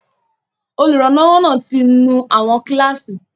Olùrànlọ́wọ́ náà ti nú àwọn kíláàsì